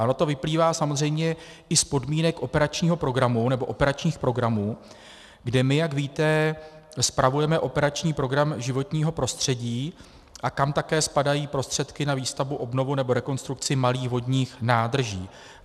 A ono to vyplývá samozřejmě i z podmínek operačního programu, nebo operačních programů, kde my, jak víte, spravujeme operační program Životní prostředí a kam také spadají prostředky na výstavbu, obnovu nebo rekonstrukci malých vodních nádrží.